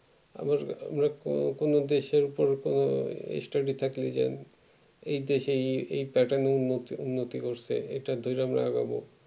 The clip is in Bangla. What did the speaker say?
আবার আমরা কোন কোনো দেশের দরকার study থাকলে যাই এই দেশে এই pattern এর মধ্যে উন্নতি করছে এই তো দুই number আগাবো